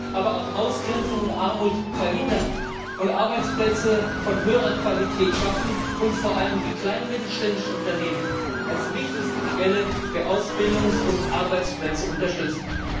Aber auch Ausgrenzung und Armut verhindern, Arbeitsplätze von höherer Qualität schaffen und vor allem die kleinen und mittelständischen Unternehmen als wichtigste Quelle für Ausbildungs und Arbeitsplätze unterstützen.